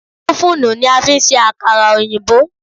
Ófùnù ni a fi ń ṣe àkàrà òyìnbó